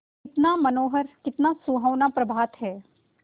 कितना मनोहर कितना सुहावना प्रभात है